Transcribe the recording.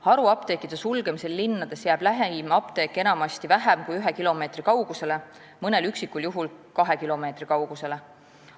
Haruapteekide sulgemisel linnades jääb lähim apteek enamasti vähem kui ühe, mõnel üksikul juhul kahe kilomeetri kaugusele.